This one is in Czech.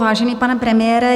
Vážený pane premiére.